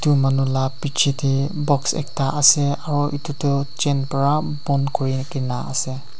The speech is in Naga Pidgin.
manu lah picche teh box ekta ase aru etu tu chain para bond kuri ke na ase.